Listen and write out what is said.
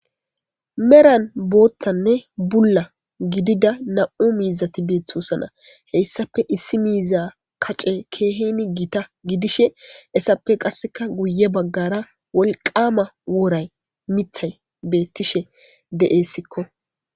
meran booththanne bulla gidida nam7u miizati beeththosana heyssape issi miiza kace keehini giita gidishe essappe qasseka guye baggara wolqama wooray mithay beettishe de7essikko